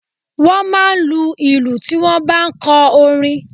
Wọ́n máa ń lu ìlù tí wọ́n ń bá ń kọ orin.